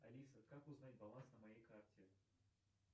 алиса как узнать баланс на моей карте